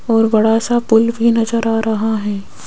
और बड़ा सा पुल भी नजर आ रहा है।